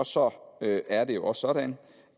så er det også sådan